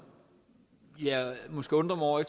jeg måske undrer